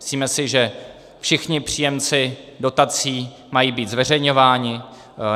Myslíme si, že všichni příjemci dotací mají být zveřejňováni.